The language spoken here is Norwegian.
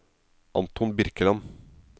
Anton Birkeland